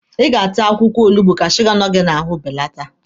Ị ga-ata akwụkwọ olugbu ka suga nọ gị n'ahụ belata!